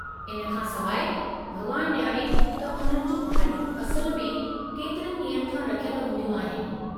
इन खां सवाइ, भॻवानु ॼाणे त उन्हनि जियूं भाॼियूं असुलु में केतिरे ॾींहनि खां रखियल हूंदियूं आहिनि।